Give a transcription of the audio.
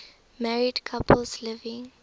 married couples living